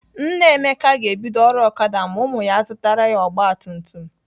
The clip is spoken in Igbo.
Nna Emeka ga-ebido ọrụ Okada ma ụmụ ya zụtara ya ọgbatumtum.